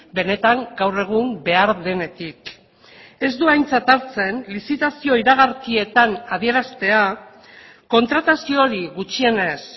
benetan gaur egun behar denetik ez du aintzat hartzen lizitazio iragarkietan adieraztea kontratazio hori gutxienez